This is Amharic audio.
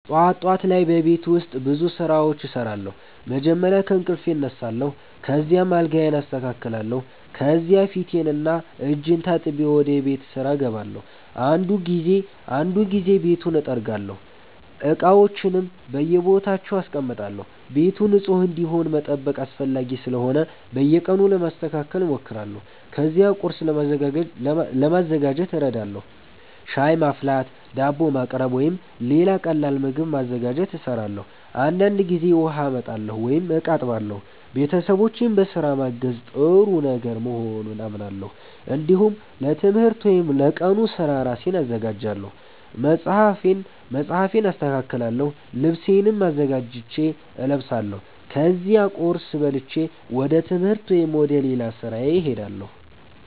ጠዋት ጠዋት ላይ በቤት ውስጥ ብዙ ስራዎች እሰራለሁ። መጀመሪያ ከእንቅልፌ እነሳለሁ፣ ከዚያም አልጋዬን አስተካክላለሁ። ከዚያ ፊቴንና እጄን ታጥቤ ወደ ቤት ስራ እገባለሁ። አንዳንድ ጊዜ ቤቱን እጠርጋለሁ፣ እቃዎችንም በየቦታቸው አስቀምጣለሁ። ቤቱ ንጹህ እንዲሆን መጠበቅ አስፈላጊ ስለሆነ በየቀኑ ለማስተካከል እሞክራለሁ። ከዚያ ቁርስ ለማዘጋጀት እረዳለሁ። ሻይ ማፍላት፣ ዳቦ ማቅረብ ወይም ሌላ ቀላል ምግብ ማዘጋጀት እሰራለሁ። አንዳንድ ጊዜ ውሃ አመጣለሁ ወይም እቃ አጥባለሁ። ቤተሰቦቼን በስራ ማገዝ ጥሩ ነገር መሆኑን አምናለሁ። እንዲሁም ለትምህርት ወይም ለቀኑ ስራ ራሴን አዘጋጃለሁ። መጽሐፌን አስተካክላለሁ፣ ልብሴንም አዘጋጅቼ እለብሳለሁ። ከዚያ ቁርስ በልቼ ወደ ትምህርት ወይም ወደ ሌላ ስራ እሄዳለሁ።